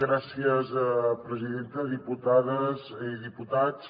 gràcies presidenta diputades i diputats